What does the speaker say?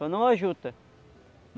Só não a juta.